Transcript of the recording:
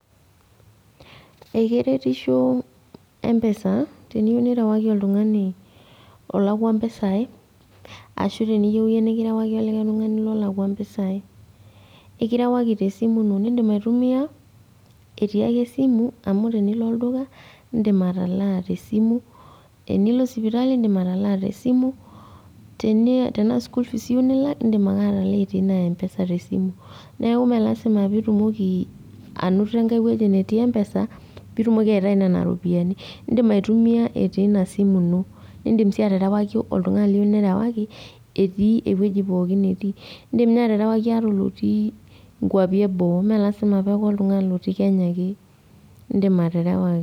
Ekeretishoo empesa teniyou nirewaki oltung'ani olakua mpesai ashu teniyou iyie nikirewaki olikai tung'ani lolakua mpisai. Eikirewaki tesimu ino nindim aitumia etiiake esimu amu tenilo olduka indim atalaa tesimu, enilo sipitali indim atalaa tesimu, teni-teanaa school fees iyou nilak indim ake atalaa etii ina mpesa tesimu. Neaku mee lasima piitumoki anoto engai wueji netii mpesa piitumoki aitayi nena ropiani indim aitumia etii ina simu ino nindim sii aterewaki oltung'ani liyou nirewaki etii ewueji pooki netii. Indim ninye aterewaki atolotii inkuapi eboo meelasima paaku oltung'ani lotii Kenya ake, indim aterewa.